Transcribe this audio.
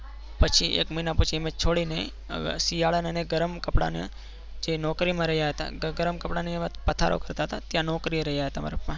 પછી એક મહિના પછી અમે છોડીને હવે શિયાળાને ગરમ કપડાને જે નોકરીમાં રહ્યા હતા? ને ગરમ કપડાની અમે પધારો કરતા હતા ત્યાં નોકરી રહ્યા હતા મારા પપ્પા